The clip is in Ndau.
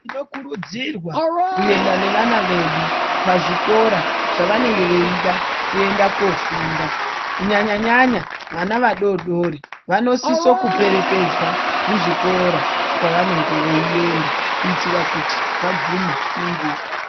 Tinokurudzirwa kuenda nevana vedu pazvikora zvavanenge veida kuenda koofunda kunyanya nyanya vana vadoodori vanosiso kuperekedzwa kuzvikora kwavanenge veienda kuitira kuti vagume nenguwa.